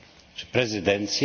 Czy prezydencja?